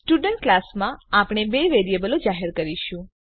student ક્લાસમાં આપણે બે વેરીએબલો જાહેર કરીશું